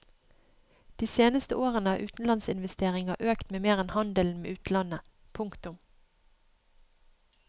De seneste årene har utenlandsinvesteringer økt mer enn handelen med utlandet. punktum